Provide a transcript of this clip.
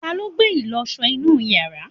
taló gbé ìlọsọ inú yàrá?